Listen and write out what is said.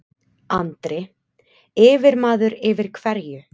Andri: Yfirmaður yfir hverju?